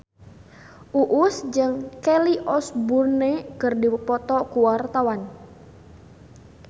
Uus jeung Kelly Osbourne keur dipoto ku wartawan